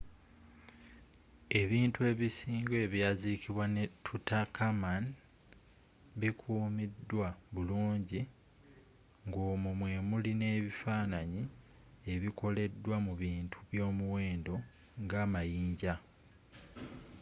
ebintu ebisinga ebyazzikibwa ne tutankhamun bikumiddwa bulungi ng'omwo mwemili neifananyi ebikoleddwa mu bintu byomuwenddo nga amayinja